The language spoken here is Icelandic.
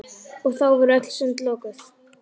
Og þá voru öll sund lokuð!